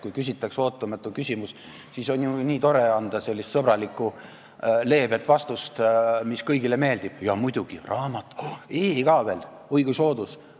Kui küsitakse ootamatu küsimus, siis on ju nii tore anda selline sõbralik ja leebe vastus, mis kõigile meeldib: jaa muidugi, raamat ja "e" ka veel, oi kui soodus!